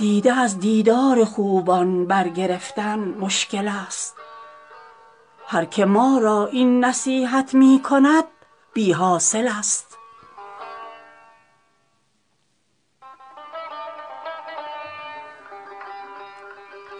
دیده از دیدار خوبان برگرفتن مشکل ست هر که ما را این نصیحت می کند بی حاصل ست